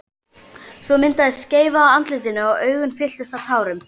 Svo myndaðist skeifa á andlitinu og augun fylltust tárum.